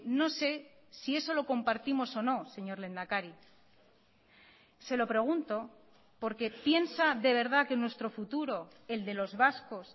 no sé si eso lo compartimos o no señor lehendakari se lo pregunto porque piensa de verdad que nuestro futuro el de los vascos